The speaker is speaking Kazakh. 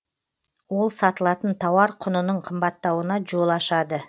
ол сатылатын тауар құнының қымбаттауына жол ашады